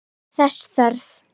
Gerist þess þörf.